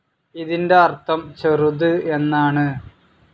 ഇതിൻ്റെ അർഥം ചെറുത് എന്നാണു.